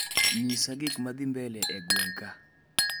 Nyisa gikmadhii mbele e gweng' ka